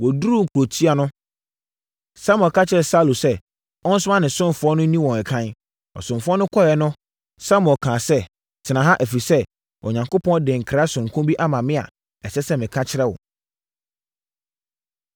Wɔduruu kurotia no, Samuel ka kyerɛɛ Saulo sɛ ɔnsoma ne ɔsomfoɔ no nni wɔn ɛkan. Ɔsomfoɔ no kɔeɛ no, Samuel kaa sɛ, “Tena ha, ɛfiri sɛ, Onyankopɔn de nkra sononko bi ama me a, ɛsɛ sɛ meka kyerɛ wo.”